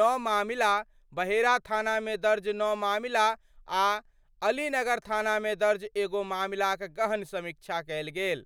नौ मामिला, बहेड़ा थानामे दर्ज नौ मामिला आ अलीनगर थानामे दर्ज एगो मामिलाक गहन समीक्षा कयल गेल।